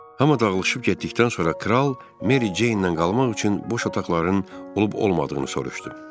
Hama dağılışıb getdikdən sonra kral Meriyeinlə qalmaq üçün boş otaqların olub-olmadığını soruşdu.